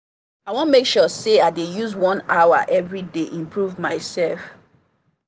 i wan make sure say i dey use one hour every day improve myself.